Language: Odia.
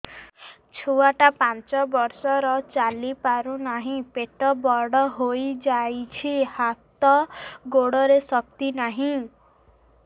ଛୁଆଟା ପାଞ୍ଚ ବର୍ଷର ଚାଲି ପାରୁ ନାହି ପେଟ ବଡ଼ ହୋଇ ଯାଇଛି ହାତ ଗୋଡ଼ରେ ଶକ୍ତି ନାହିଁ